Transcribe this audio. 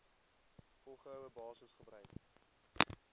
volgehoue basis gebruik